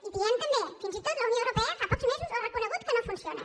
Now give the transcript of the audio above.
i diem també fins i tot la unió europea fa pocs mesos ho ha reconegut que no funciona